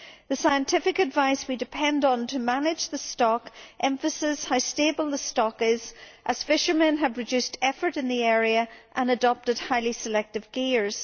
The scientific advice we depend on to manage the stock emphasises how stable the stock is as fishermen have reduced effort in the area and adopted highly selective gears.